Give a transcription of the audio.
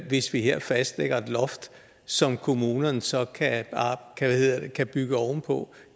hvis vi her fastlægger et loft som kommunerne så kan kan bygge ovenpå